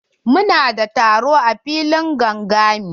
Mu na da taro a filin gangami.